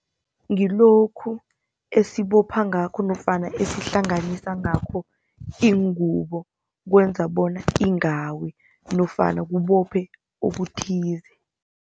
Ngilokhu esibopha ngakho nofana esihlanganisa ngakho iingubo, kwenza bona ingawi nofana kubophe okuthize.